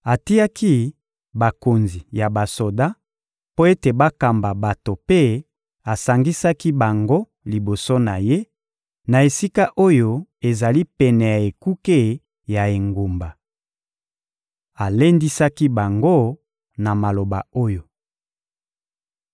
Atiaki bakonzi ya basoda mpo ete bakamba bato mpe asangisaki bango liboso na ye, na esika oyo ezali pene ya ekuke ya engumba. Alendisaki bango na maloba oyo: